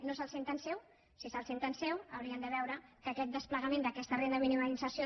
no se’l senten seu si se’l senten seu haurien de veure que aquest desplegament d’aquesta renda mínima d’inserció